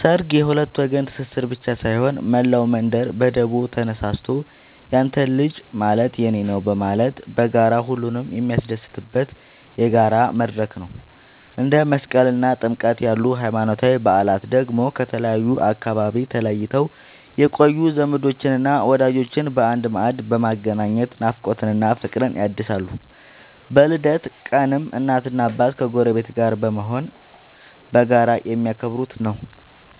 ሠርግ የሁለት ወገን ትስስር ብቻ ሳይሆን፣ መላው መንደር በደቦ ተነሳስቶ ያንተ ልጅ ማለት የኔ ነዉ በማለት በጋራ ሁሉንም የሚያስደስትበት የጋራ መድረክ ነው። እንደ መስቀልና ጥምቀት ያሉ ሃይማኖታዊ በዓላት ደግሞ ከተለያዩ አካባቢዎች ተለይተው የቆዩ ዘመዶችንና ወዳጆችን በአንድ ማዕድ በማገናኘት ናፍቆትን እና ፍቅርን ያድሳሉ። በልደት ቀንም እናትና አባት ከጎረቤት ጋር በመሆን በጋራ የሚያከብሩት ነዉ።